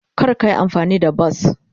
Kar ka yi amfani da bas.